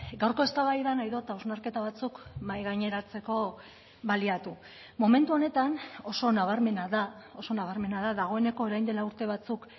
gaurko eztabaidan nahi dut hausnarketa batzuk mahai gaineratzeko baliatu momentu honetan oso nabarmena da oso nabarmena da dagoeneko orain dela urte batzuk